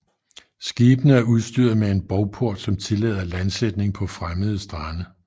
Skibene er udstyret med en bovport som tillader landsætning på fremmede strande